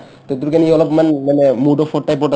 to ইটোৰ কাৰণে সি অলপমান মানে mood off ৰ type ত আছে